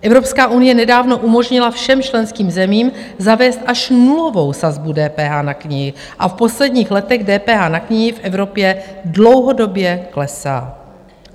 Evropská unie nedávno umožnila všem členským zemím zavést až nulovou sazbu DPH na knihy a v posledních letech DPH na knihy v Evropě dlouhodobě klesá.